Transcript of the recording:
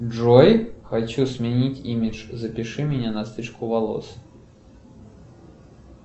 джой хочу сменить имидж запиши меня на стрижку волос